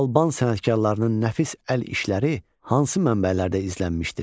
Alban sənətkarlarının nəfis əl işləri hansı mənbələrdə izlənmişdir?